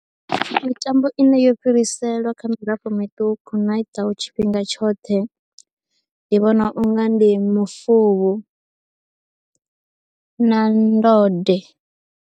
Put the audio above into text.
Mitambo ine yo fhiriselwa kha mirafho miṱuku na i ḓaho tshifhinga tshoṱhe ndi vhona u nga ndi mufuvhu na ndode.